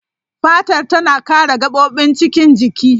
Fatar tana kare gabobin cikin jiki.